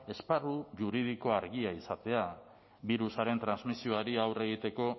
esparru juridikoa argia izatea birusaren transmisioari aurre egiteko